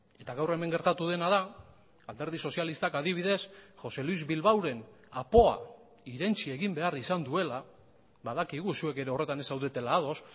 eta gaur hemen gertatu dena da alderdi sozialistak adibidez jose luis bilbaoren apoa irentsi egin behar izan duela badakigu zuek ere horretan ez zaudetela ados